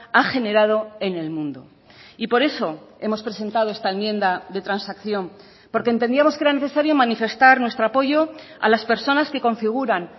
ha generado en el mundo y por eso hemos presentado esta enmienda de transacción porque entendíamos que era necesario manifestar nuestro apoyo a las personas que configuran